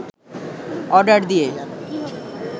order দিয়ে